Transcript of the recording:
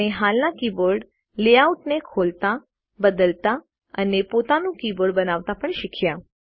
આપણે હાલના કીબોર્ડ લેઆઉટને ખોલતા બદલતા અને પોતાનું કીબોર્ડ બનાવતા પણ શીખ્યા